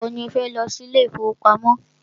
Ìgbà wọ ni o fẹ́ lọ sí ilé ìfọwọ́pamo?